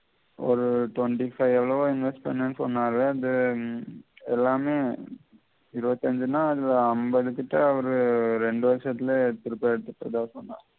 ஒரு twenty five அளவு invest பன்னேனு சொன்னாரு அது எல்லாமே இருவத்தஞ்சி நாள் ஐம்பது கிட்ட அவரு ரெண்டு வருஷத்திலே எடுத்திட்டதாக சொன்னாரு